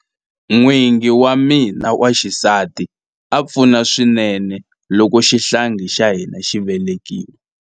N'wingi wa mina wa xisati a pfuna swinene loko xihlangi xa hina xi velekiwa.